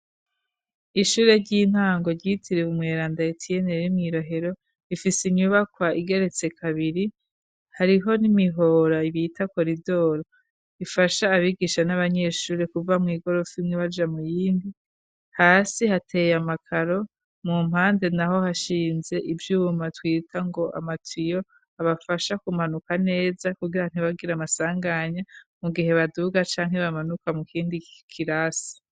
Ishure ry'intango ryitiriwe umweranda Etiyene ryo mwi Rohero ifise inyubakwa igeretse kabiri . Hariho n'imihora ibita koridoro ifasha abigisha n'abanyeshuri kuva mw'igorofa baja muyindi. Hasi hateye amakaro mu mpande naho hashinze ivyuma twita ngo amatiyo abafasha kumanuka neza kugira ntibagira amasanganya mu gihe baduga canke bamanuka mu kindi kirasi.